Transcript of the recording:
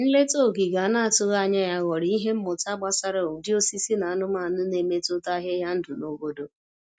Nleta ogige a na-atụghị anya ya ghọrọ ihe mmụta gbasara ụdị osisi na anumanụ na-emetụta ahịhịa ndụ na obodo.